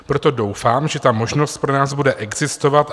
Proto doufám, že ta možnost pro nás bude existovat.